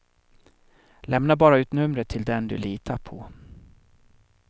Lämna bara ut numret till den du litar på.